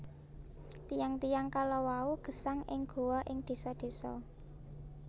Tiyang tiyang kalawau gesang ing goa ing désa désa